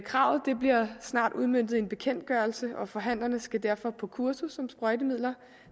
kravet bliver snart udmøntet i en bekendtgørelse og forhandlerne skal derfor på kursus om sprøjtemidler